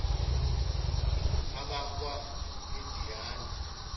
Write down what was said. abakwamidiyani